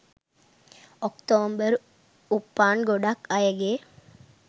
ඔක්තෝම්බර් උපන් ගොඩක් අයගේ